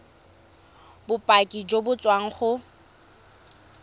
bopaki jo bo tswang go